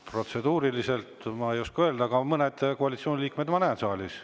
Protseduuriliselt ma ei oska öelda, aga mõnesid koalitsiooni liikmeid ma näen saalis.